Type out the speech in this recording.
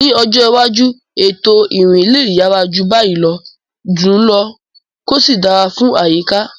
Ní ọjọ́ iwájú, ètò ìrìn lè yára jù báyìí lọ, dùn ún lò, kí ó sì dára fún àyíká.